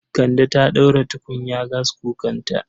Kande ta ɗaura tukunya gaskukanta